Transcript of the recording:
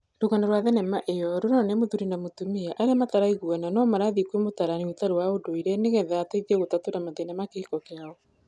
Rũgano rwa thenema ĩo rũronania mũthuri na mũtumia arĩa mataraiguana no marathiĩ kwĩ mũtarani ũtarĩ wa ndũire nĩgetha ateithie gũtatũra mathĩna ma kĩhiko kĩao